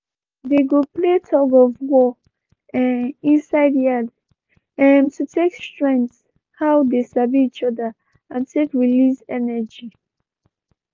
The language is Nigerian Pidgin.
they go play tug of war um inside yard um to take strength how they sabi each other and take release energy.